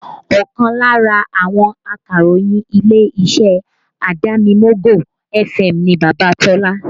Ọkàn lára àwọn akàròyìn ilé-iṣẹ́ Adamimogo FM ni Baba Tola